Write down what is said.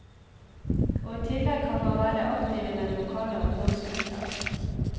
Og i tillegg kan man være aktiv i den lokale ungdomsgruppen.